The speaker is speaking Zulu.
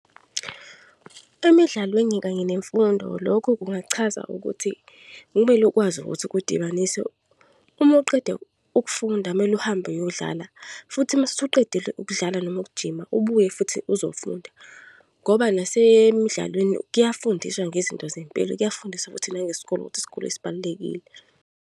Emidlalweni kanye nemfundo, lokhu kungachaza ukuthi kumele ukwazi ukuthi ukudibanisa. Uma uqeda ukufunda, kumele uhambe uyodlala. Futhi mase usuqedile ukudlala noma ukujima, ubuye futhi uzofunda. Ngoba nasemidlalweni kuyafundiswa ngezinto zempilo, kuyafundiswa ukuthi nangesikole ukuthi isikole sibalulekile.